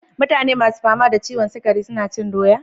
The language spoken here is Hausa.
Mutane ma su fama da ciwon sukari su na cin doya?